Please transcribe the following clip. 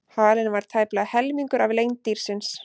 Halinn var tæplega helmingur af lengd dýrsins.